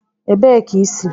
Ebee ka i si?